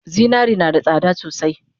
Zinare nada tsada sosai